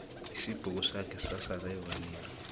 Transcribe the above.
isibhukusakhe sasala evaneri bhomu